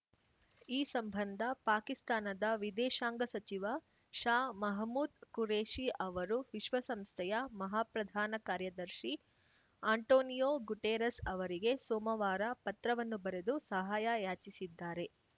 ಈ ಸಂಬಂಧ ಪಾಕಿಸ್ತಾನದ ವಿದೇಶಾಂಗ ಸಚಿವ ಶಾ ಮಹಮೂದ್‌ ಖುರೇಷಿ ಅವರು ವಿಶ್ವಸಂಸ್ಥೆಯ ಮಹಾಪ್ರಧಾನ ಕಾರ್ಯದರ್ಶಿ ಆಂಟೋನಿಯೋ ಗುಟೆರಸ್‌ ಅವರಿಗೆ ಸೋಮವಾರ ಪತ್ರವನ್ನು ಬರೆದು ಸಹಾಯ ಯಾಚಿಸಿದ್ದಾರೆ